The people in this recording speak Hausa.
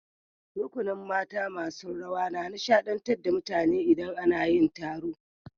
Rukunin mata masun rawa na nishadantar da mutane idan ana yin taro.